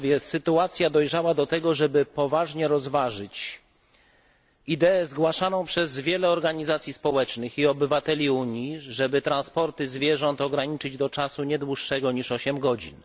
Sytuacja dojrzała do tego, żeby poważnie rozważyć ideę zgłaszaną przez wiele organizacji społecznych i wielu obywateli Unii, żeby transporty zwierząt ograniczyć do czasu nie dłuższego niż 8 godzin.